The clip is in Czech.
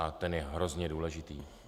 A ten je hrozně důležitý.